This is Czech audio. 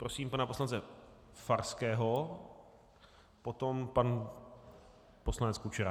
Prosím pana poslance Farského, potom pan poslanec Kučera.